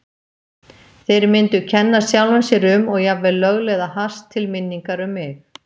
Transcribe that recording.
Þeir myndu kenna sjálfum sér um og jafnvel lögleiða hass til minningar um mig.